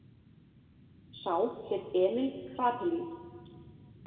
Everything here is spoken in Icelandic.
Sá hét Emil Kraepelin.